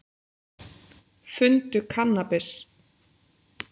Fundu kannabis